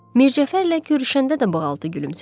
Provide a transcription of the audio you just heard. Mircəfərlə görüşəndə də balaltı gülümsədi.